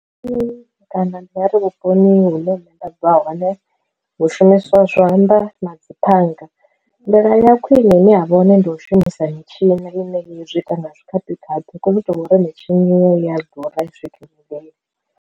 Kana ndi nga ri vhuponi hune nṋe nda bva hone hu shumiswa zwanḓa na dzi phanga, nḓila ya khwine ine ya vha hone ndi u shumisa mitshini ine zwi ita nga tshikhaphikhaphi hu khou itelwa uri mitshini ya ḓura a i swikelelei.